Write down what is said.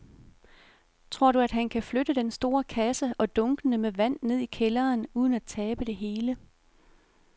Tror du, at han kan flytte den store kasse og dunkene med vand ned i kælderen uden at tabe det hele?